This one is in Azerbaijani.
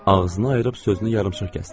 Ağzını ayırıb sözünü yarımçıq kəsdi.